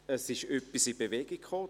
Es ist etwas in Bewegung gekommen.